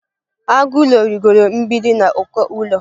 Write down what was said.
Agụ ụlọ rịgooro mgbidi na uko ụlọ.